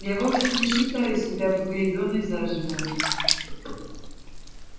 я вовсе не считаю себя погребённой заживо